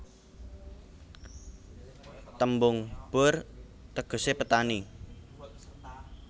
Tembung Boer tegesé petani